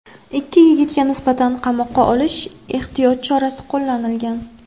Ikki yigitga nisbatan qamoqqa olish ehtiyot chorasi qo‘llanilgan.